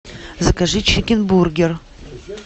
закажи чикенбургер